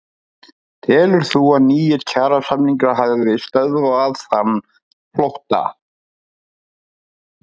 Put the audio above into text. Telur þú að nýir kjarasamningar hafi stöðvað þann flótta?